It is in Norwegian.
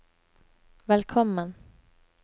velkommen